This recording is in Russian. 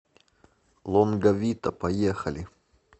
лонга вита поехали